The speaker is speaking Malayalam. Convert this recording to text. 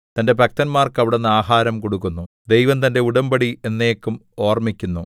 തന്റെ ഭക്തന്മാർക്ക് അവിടുന്ന് ആഹാരം കൊടുക്കുന്നു ദൈവം തന്റെ ഉടമ്പടി എന്നേക്കും ഓർമ്മിക്കുന്നു